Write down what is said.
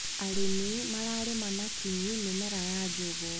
Arĩmi mararĩma na kinyi mĩmera ya njugũ.